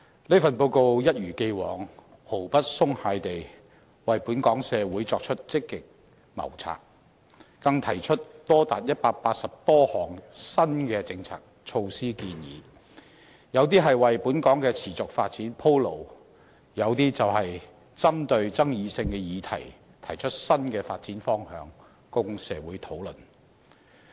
一如既往，這份報告毫不鬆懈地為本港社會積極謀策，更提出高達180多項新的政策措施建議，有些為本港的持續發展鋪路，有些則針對爭議性議題提出新的發展方向供社會討論。